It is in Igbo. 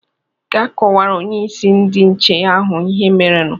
"Gaa kọwara Onyeisi ndị nche ahụ ihe merenu"